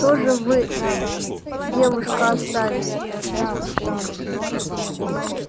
что же вы девушка оставили